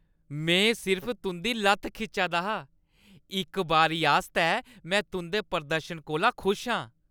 मैं सिर्फ तुंʼदी लʼत्त खिच्चा दा हा। इक बारी आस्तै, मैं तुंʼदे प्रदर्शन कोला खुश आं ।